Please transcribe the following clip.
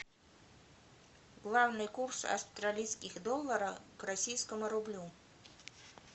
главный курс австралийских доллара к российскому рублю